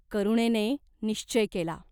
करुणेने निश्वय केला.